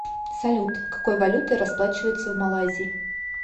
салют какой валютой расплачиваются в малайзии